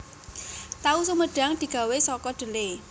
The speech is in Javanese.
Tahu sumedhang digawé saka dhelè